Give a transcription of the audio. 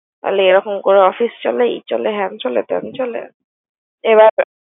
বলে এরকম করে office চলে হ্যান চলে ত্যান চলে।